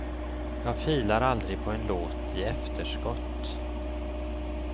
Jag filar aldrig på en låt i efterskott.